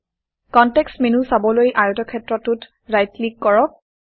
context menu চাবলৈ আয়তক্ষেত্ৰটোত right click কৰক